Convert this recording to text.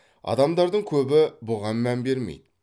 адамдардың көбі бұған мән бермейді